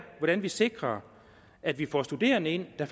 hvordan vi sikrer at vi får studerende ind der